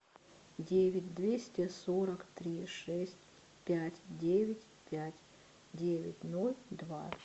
девять двести сорок три шесть пять девять пять девять ноль два